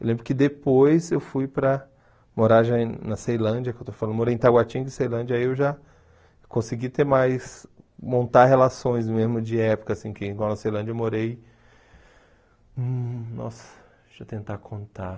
Eu lembro que depois eu fui para morar já e na Ceilândia, que eu estou falando, eu morei em Itaguatinga e Ceilândia, aí eu já consegui ter mais... montar relações mesmo de época, assim, que igual na Ceilândia eu morei... Nossa, deixa eu tentar contar...